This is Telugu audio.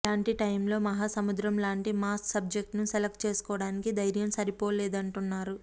ఇలాంటి టైమ్ లో మహాసముద్రం లాంటి మాస్ సబ్జెక్ట్ ను సెలక్ట్ చేసుకోవడానికి ధైర్యం సరిపోలేదంటున్నారు